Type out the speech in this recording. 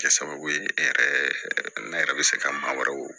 Kɛ sababu ye e yɛrɛ n'a yɛrɛ be se ka maa wɛrɛw